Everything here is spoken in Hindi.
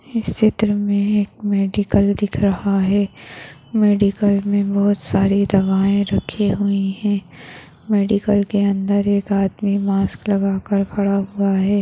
इस चित्र मे एक मेडिकल दिख रहा है मेडिकल मे बहुत सारे दवाएं रखे हुए है मेडिकल के अंदर एक आदमी मास्क लगाकर खड़ा हुआ है।